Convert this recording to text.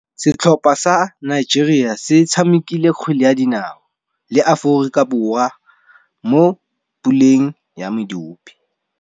Setlhopha sa Nigeria se tshamekile kgwele ya dinaô le Aforika Borwa mo puleng ya medupe.